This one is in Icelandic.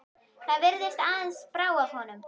Það virðist aðeins brá af honum.